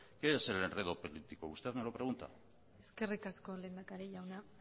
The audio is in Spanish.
qué es el enredo político usted me lo pregunta eskerrik asko lehendakari jauna